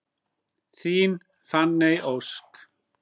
Þín Fanney Ósk.